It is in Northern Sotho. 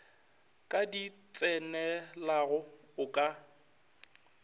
ka di tsenelago o ka